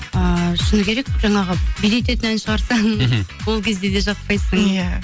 ыыы шыны керек жаңағы билететін ән шығарсаң мхм ол кезде де жақпайсың иә